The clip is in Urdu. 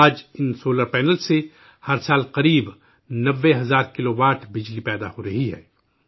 آج ان سولر پینلز سے ہر سال تقریباً 90 ہزار کلو واٹ گھنٹے بجلی پیدا ہو رہی ہے